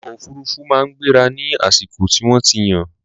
ọkọ òfurufú máa ń gbéra ní àsìkò tí wọ́n ti yàn.